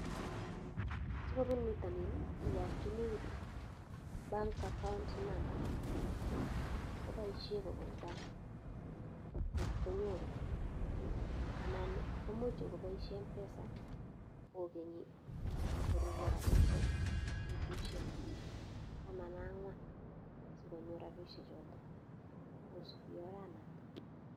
Si kopuun pitanin i, yakchini, bank account number ko paishe kopun bank konyoru anan ko much ngopaishe Mpesa kokenyi korurya rapishek petushek taman ak ang'wan si konyor rapishechotok kosupi oranotok.